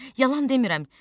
Yalan demirəm.